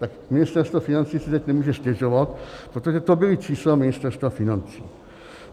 Tak Ministerstvo financí si teď nemůže stěžovat, protože to byla čísla Ministerstva financí.